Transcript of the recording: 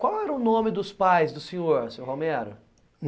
Qual era o nome dos pais do senhor, seu Romero?